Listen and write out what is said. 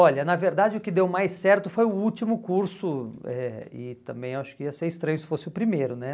Olha, na verdade o que deu mais certo foi o último curso, eh e também acho que ia ser estranho se fosse o primeiro, né?